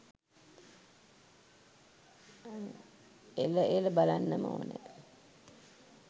එල එල බලන්නම ඕනේ